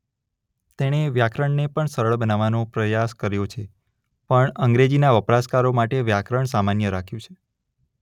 તેણે વ્યાકરણને પણ સરળ બનાવવાનો પ્રયાસ કર્યો છે પરંતુ અંગ્રેજીના વપરાશકારો માટે વ્યાકરણ સામાન્ય રાખ્યું છે.